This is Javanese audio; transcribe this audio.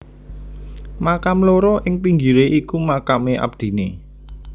Makam loro ing pinggire iku makame abdine